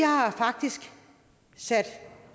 har faktisk sat